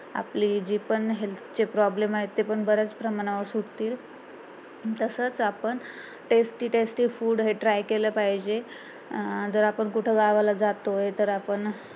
आपले जी पण health चे problem आहे ते पण बऱ्याच प्रमाणावर सुटतील तसंच आपण tasty tasty food हे try केलं पाहिजे अं जर आपण कुठं गावाला जातो तर आपण